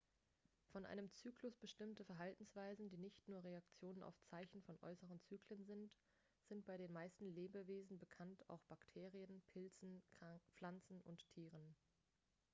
von einem zyklus bestimmte verhaltensweisen die nicht nur reaktionen auf zeichen von äußeren zyklen sind sind bei den meisten lebewesen bekannt auch bei bakterien pilzen pflanzen und tieren